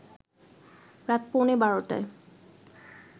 রাত পৌনে ১২টায়